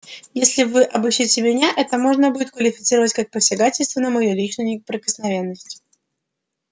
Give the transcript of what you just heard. если вы обыщите меня это можно будет квалифицировать как посягательство на мою личную неприкосновенность